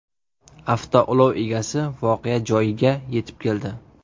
Avtoulov egasi voqea joyiga yetib keldi.